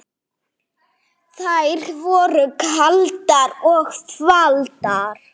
Þær voru kaldar og þvalar.